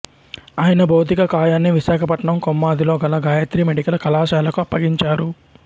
ఆయన భౌతిక కాయాన్ని విశాఖపట్నం కొమ్మాదిలో గల గాయత్రి మెడికల్ కళాశాలకు అప్పగించారు